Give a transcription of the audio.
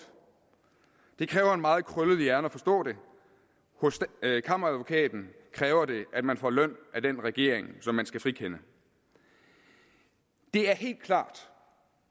det kræver en meget krøllet hjerne at forstå det hos kammeradvokaten kræver det at man får løn af den regering som man skal frikende det er helt klart